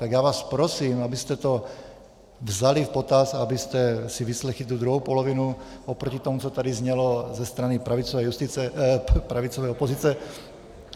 Tak já vás prosím, abyste to vzali v potaz, abyste si vyslechli tu druhou polovinu oproti tomu, co tady znělo ze strany pravicové opozice.